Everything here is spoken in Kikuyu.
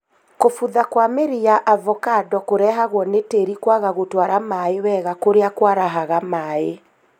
kũbutha kwa mĩri ya avocado kũrehagwo nĩ tĩĩri kwaga gũtwara maĩ wega kũrĩa kwarahaga maĩ